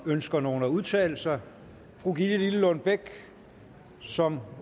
ønsker nogen at udtale sig fru gitte lillelund bech som